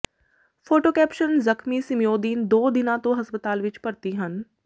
photo caption ਜ਼ਖਮੀ ਸਮੀਉਦੀਨ ਦੋ ਦਿਨਾਂ ਤੋਂ ਹਸਪਤਾਲ ਵਿੱਚ ਭਰਤੀ ਹਨ